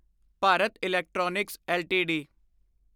Bharat electronics LTD